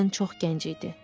Qadın çox gənc idi.